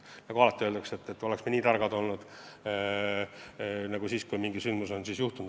Nagu alati öeldakse: oleks me nii targad olnud juba siis, kui mingi sündmus juhtus.